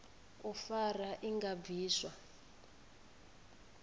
u fara i nga bviswa